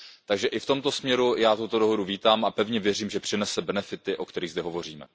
Takže i v tomto směru já dohodu vítám a pevně věřím, že přinese benefity, o kterých zde hovoříme.